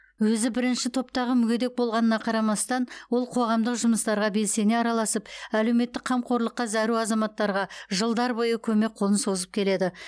өзі бірінші топтағы мүгедек болғанына қарамастан ол қоғамдық жұмыстарға белсене араласып әлеуметтік қамқорлыққа зәру азаматтарға жылдар бойы көмек қолын созып келеді